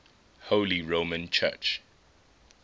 holy roman church